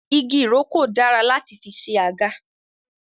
Igi ìrókò dára láti fi ṣe àga